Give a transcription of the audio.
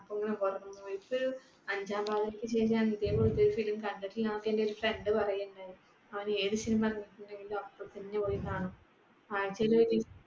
അഞ്ചാം പാതിരക്കു ശേഷം ഞാൻ ഇതേപോലത്തെ ഒരു film കണ്ടിട്ടില്ലാന്നൊക്കെ എന്റെയൊരു friend പറയുകയുണ്ടായി. അവൻ ഏതു cinema ഇറങ്ങിയിട്ടുണ്ടെങ്കിലും അപ്പൊത്തന്നെ പോയി കാണും. ആഴ്ചയിൽ